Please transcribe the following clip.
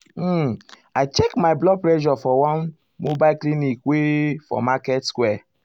um i check my blood pressure for one mobile clinic wey for market square.